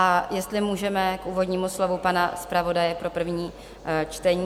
A jestli můžeme k úvodnímu slovu pana zpravodaje pro první čtení.